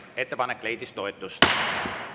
Ettepanek leidis toetust.